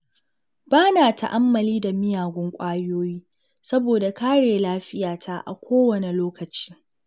Ba na ta'ammali da miyagun ƙwayoyi saboda kare lafiyata a kowane lokaci.